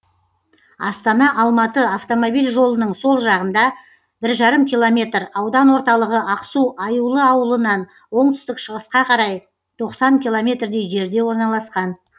астана алматы автомобиль жолының сол жағында бір жарым километр аудан орталығы ақсу аюлы ауылынан оңтүстік шығысқа қарай тоқсан километрдей жерде орналасқан